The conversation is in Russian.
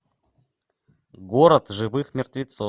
город живых мертвецов